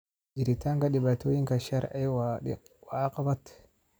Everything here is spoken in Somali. Jiritaanka dhibaatooyinka sharci waa caqabad.